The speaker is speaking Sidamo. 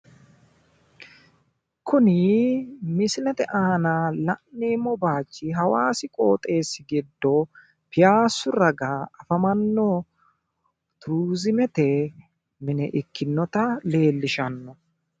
Kuni misilete aana la'neemmo baayichi hawaasi qooxeessi giddo piyaassu raga afamanno turiizimete mine ikkinnota leellishanno.